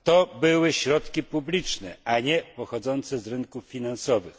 To były środki publiczne, a nie pochodzące z rynków finansowych.